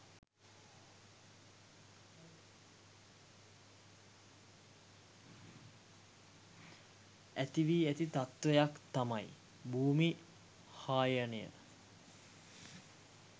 ඇති වී ඇති තත්ත්වයක් තමයි භූමි හායනය.